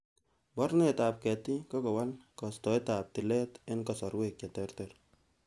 Mornetab ketik, kokowal kostoet ab tilet en kasorwek che terter.